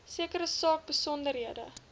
sekere saak besonderhede